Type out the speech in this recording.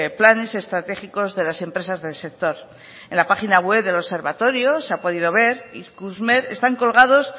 planes estratégicos de las empresas del sector en la página web del observatorio se ha podido ver ikusmer están colgados